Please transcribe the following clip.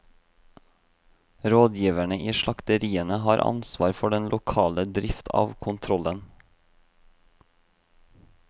Rådgiverne i slakteriene har ansvar for den lokale drift av kontrollen.